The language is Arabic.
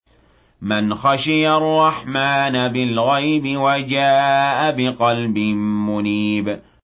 مَّنْ خَشِيَ الرَّحْمَٰنَ بِالْغَيْبِ وَجَاءَ بِقَلْبٍ مُّنِيبٍ